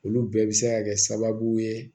Olu bɛɛ bɛ se ka kɛ sababu ye